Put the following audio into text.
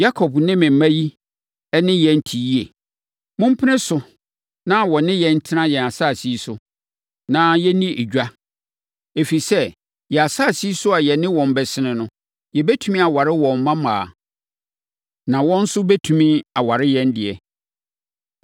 “Yakob ne ne mma yi ne yɛn te yie. Mompene so na wɔne yɛn ntena yɛn asase yi so, na yɛnni edwa. Ɛfiri sɛ, yɛn asase yi so a yɛne wɔn bɛsene so. Yɛbɛtumi aware wɔn mmammaa, na wɔn nso bɛtumi aware yɛn deɛ.